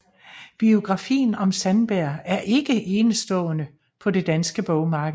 Biografien om Sandberg er ikke enestående på det danske bogmarked